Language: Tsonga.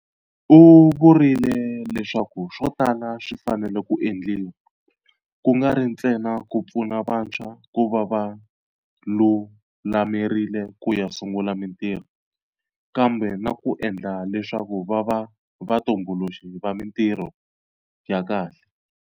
U vurile leswaku swo tala swi fanele ku endliwa, ku nga ri ntsena ku pfuna vantshwa ku va va lulamerile ku ya sungula mitirho, kambe na ku endla leswaku va va vatumbuluxi va mitirho ya kahle.